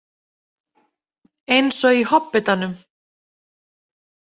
Eins og í Hobbitanum.